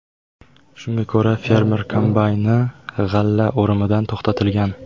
Shunga ko‘ra, fermer kombayni g‘alla o‘rimidan to‘xtatilgan.